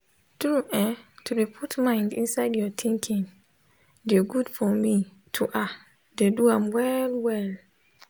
tru[um]to dey put mind inside ur tinkin de gud for me to ahh de do am well well